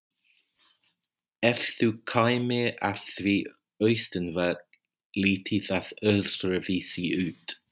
Ef þú kæmir að því austanvert liti það öðruvísi út.